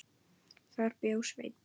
Þar bjó Sveinn